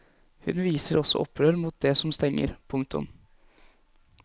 Hun viser også opprør mot det som stenger. punktum